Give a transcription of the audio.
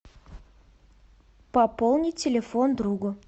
пополнить телефон другу